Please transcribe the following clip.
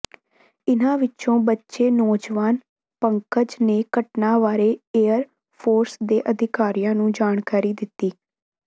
ਇਨ੍ਹਾਂ ਵਿੱਚੋਂ ਬਚੇ ਨੌਜਵਾਨ ਪੰਕਜ ਨੇ ਘਟਨਾ ਬਾਰੇ ਏਅਰ ਫੋਰਸ ਦੇ ਅਧਿਕਾਰੀਆਂ ਨੂੰ ਜਾਣਕਾਰੀ ਦਿੱਤੀ